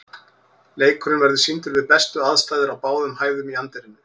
Leikurinn verður sýndur við bestu aðstæður á báðum hæðum í anddyrinu.